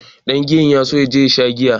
Ɗangiyan na so ya je ya sha giya.